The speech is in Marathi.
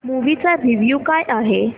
मूवी चा रिव्हयू काय आहे